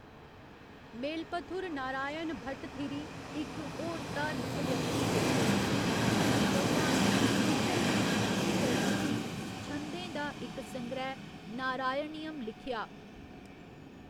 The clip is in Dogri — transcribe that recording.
मेलपथुर नारायण भट्टथिरी इक होर धार्मक व्यक्ति हे जि'नें हिंदू भगवान कृश्ण दी स्तुति करदे होई छंदें दा इक संग्रैह् नारायणियम लिखेआ।